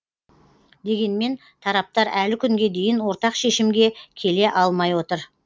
дегенмен тараптар әлі күнге дейін ортақ шешімге келе алмай отыр